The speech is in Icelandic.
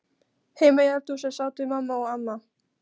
Heima í eldhúsi sátu mamma og amma.